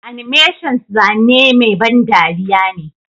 Animations zane mai ban dariya ne.